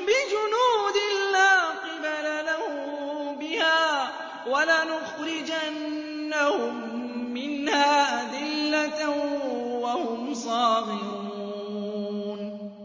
بِجُنُودٍ لَّا قِبَلَ لَهُم بِهَا وَلَنُخْرِجَنَّهُم مِّنْهَا أَذِلَّةً وَهُمْ صَاغِرُونَ